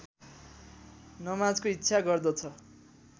नमाजको इच्छा गर्दछ